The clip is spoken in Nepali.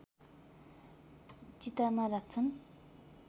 चितामा राख्छन्